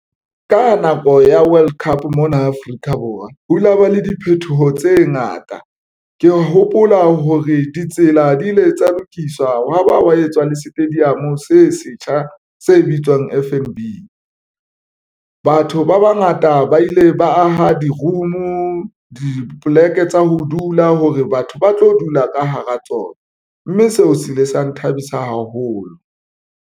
Ka nako ya World Cup mona Afrika Borwa ho la ba le diphetoho tse ngata. Ke hopola hore ditsela di ile tsa lokiswa wa ba wa etswa le stadium se setjha se bitswang FNB. Batho ba bangata ba ile ba aha di-room dipoleke tsa ho dula hore batho ba tlo dula ka hara tsona mme seo se ile sa nthabisa haholo.